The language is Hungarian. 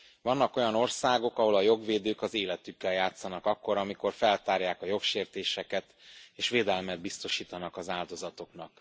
Vannak olyan országok, ahol a jogvédők az életükkel játszanak akkor, amikor feltárják a jogsértéseket és védelmet biztosítanak az áldozatoknak.